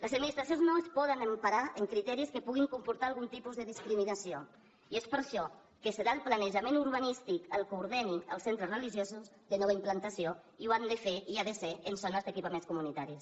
les administracions no es poden emparar en criteris que puguin comportar algun tipus de discriminació i és per això que serà el planejament urbanístic el que ordeni els centres religiosos de nova implantació i ho han de fer i ha de ser en zones d’equipaments comunitaris